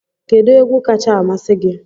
Kedu egwu kacha amasị gị?